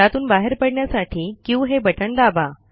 त्यातून बाहेर पडण्यासाठी क्यू हे बटण दाबा